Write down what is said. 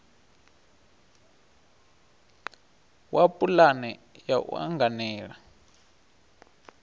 wa pulane ya u anganela